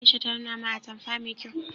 Aisha ta nuna min atamfa mai kyau